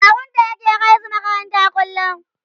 kawunta yake kaisu makaranta kullum